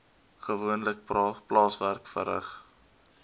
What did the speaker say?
gewoonlik plaaswerk verrig